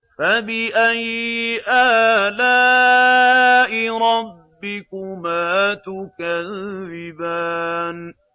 فَبِأَيِّ آلَاءِ رَبِّكُمَا تُكَذِّبَانِ